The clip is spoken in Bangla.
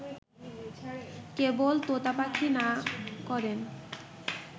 কেবল তোতা পাখী না করেন